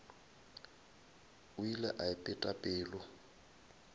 o ile a ipeta pelo